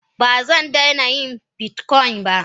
Bazandaina yin bitcoin ba.